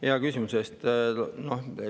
Aitäh hea küsimuse eest!